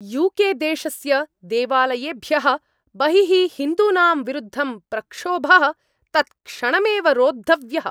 UK. देशस्य देवालयेभ्यः बहिः हिन्दूनां विरुद्धं प्रक्षोभः तत्क्षणमेव रोद्धव्यः।